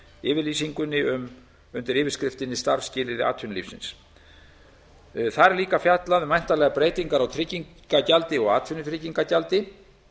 yfirlýsingunni undir yfirskriftinni starfsskilyrði atvinnulífsins þar er líka fjallað um væntanlegar breytingar á tryggingagjaldi og atvinnutryggingagjaldi